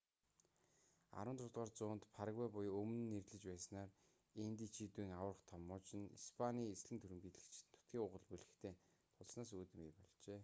16-р зуунд парагвай буюу өмнө нь нэрлэж байснаар индичүүдийн аварга том муж нь испаний эзлэн түрэмгийлэгчид нутгийн уугуул бүлэгтэй тулснаас үүдэн бий болжээ